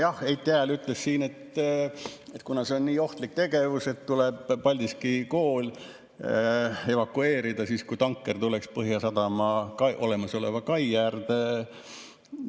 Jah, Heiti Hääl ütles siin, et see on nii ohtlik tegevus, et tuleks Paldiski kool evakueerida, kui tanker tuleks Põhjasadama olemasoleva kai äärde.